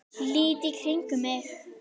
Lít í kringum mig.